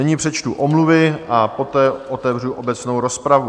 Nyní přečtu omluvy a poté otevřu obecnou rozpravu.